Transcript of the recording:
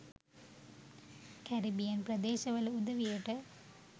Caribbean ප්‍රදේශවල උදවියට